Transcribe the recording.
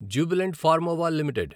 Jubilant Pharmova limited